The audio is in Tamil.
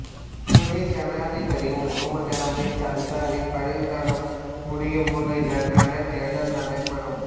துணைஜனாதிபதி முகம்மது அமீத் அன்சாரி பதவிக்காலம் முடியும் முன் இதற்கான தேர்தல் நடைபெறும்